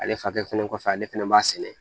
Ale fakɛ fɛnɛ kɔfɛ ale fɛnɛ b'a sɛnɛ